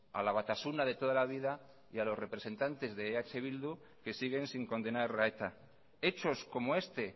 a la batasuna de toda la vida y a los representantes de eh bildu que siguen sin condenar a eta hechos como este